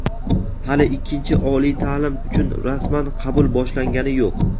hali ikkinchi oliy ta’lim uchun rasman qabul boshlangani yo‘q.